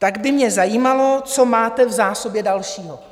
Tak by mě zajímalo, co máte v zásobě dalšího.